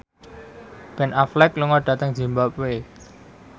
Ben Affleck lunga dhateng zimbabwe